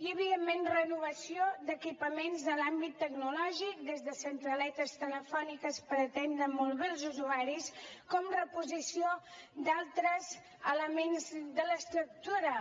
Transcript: i evidentment renovació d’equipaments en l’àmbit tecnològic des de centraletes telefòniques per atendre molt bé els usuaris com reposició d’altres elements de l’estructura